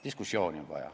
Diskussiooni on vaja.